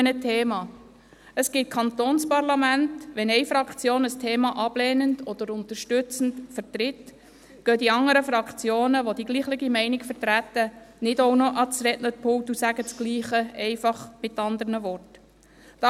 Es gibt Kantonsparlamente, in denen die anderen Fraktionen, welche dieselbe Meinung vertreten, nicht auch noch ans Rednerpult treten, um dasselbe, aber in anderen Worten zu sagen, wenn eine Fraktion ein Thema bereits ablehnend oder unterstützend vertreten hat.